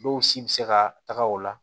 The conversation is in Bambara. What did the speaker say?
Dɔw si bɛ se ka taga o la